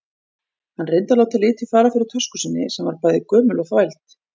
Hann reyndi að láta fara lítið fyrir tösku sinni, sem var bæði gömul og þvæld.